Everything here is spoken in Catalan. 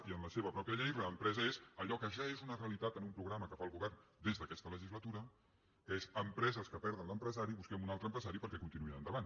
i en la seva pròpia llei reempresa és allò que ja és una realitat en un programa que fa el govern des d’aquesta legislatura que és empreses que perden l’empresari busquem un altre empresari perquè continuïn endavant